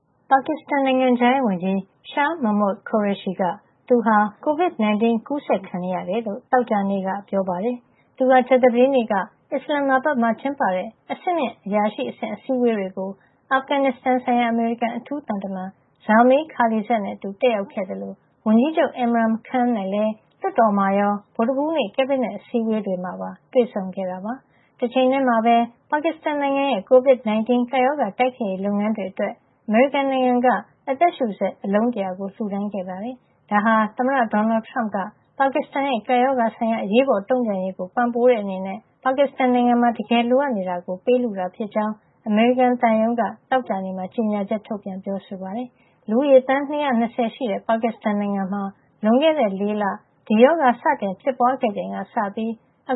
ပါကစ္စတန် နိုင်ငံခြားရေးဝန်ကြီး Shah Mehmood Qureshi က သူဟာ ကိုဗစ် ၁၉ အ ကူးစက်ခံနေရ ကြောင်း သောကြာနေ့ ပြောပါတယ်။ သူဟာ ကြာသပတေးနေ့က အစ္စလန်မာဘတ်မှာ ကျင်းပတဲ့ အဆင့်မြင့်အရာရှိအဆင့် အစည်းဝေးတွေကို အာဖဂန်ဆိုင်ရာ အမေရိကန်အထူးသံတမန် Zalmay Khalilzad နဲ့အတူ တက်ရောက်ခဲ့သလို ဝန်ကြီးချုပ် Imran Khan နဲ့လည်း လွှတ်တော်မှာရော ဗုဒ္ဓဟူးနေ့ ကက်ဘိနက် အစည်းဝေးမှာပါ တွေ့ဆုံခဲ့တာပါ။ တချိန်ထဲမှာပဲ ပါကစ္စတန်နိုင်ငံရဲ့ COVID 19 ကပ်ရောဂါတိုက်ဖျက်ရေးလုပ်ငန်းအတွက် အမေရိကန်နိုင်ငံက အသက်ရှုစက် အလုံး ၁၀၀ လှူဒါန်းခဲ့ပါတယ်။ ဒါဟာ သမ္မတ ဒေါ်နယ်ထရမ့်က ပါကစ္စတန်ရဲ့ ကပ်ရောဂါဆိုင်ရာ အရေးပေါ်တုံ့ပြန်ရေးကို ပံ့ပိုးတဲ့ အနေနဲ့ပါကစ္စတန်နိုင်ငံမှာ တကယ်လိုအပ်နေတာကို ပေးလှူတာ ဖြစ်ကြောင်း အမေရိကန်သံရုံးက သောကြာနေ့မှာ ကြေညာချက်ထုတ်ပြန်ပြောဆိုပါတယ်။ လူဦးရေ သန်း ၂၂၀ ရှိတဲ့ ပါကစ္စတန်နိုင်ငံမှာ လွန်ခဲ့တဲ့ ၄ လ ဒီရောဂါ စတင် ဖြစ်ပွါးခဲ့ချိန်ကစပြီး အ